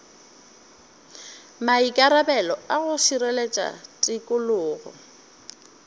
maikarabelo a go šireletša tikologo